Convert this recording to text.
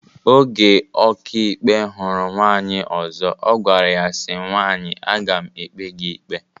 Oge ọkàikpe hụrụ nwaanyị ọzọ ọ gwara ya si, nwaanyị aga m ekpe gị ikpe